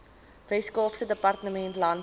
weskaapse departement landbou